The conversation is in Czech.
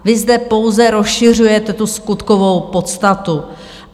Vy zde pouze rozšiřujete tu skutkovou podstatu.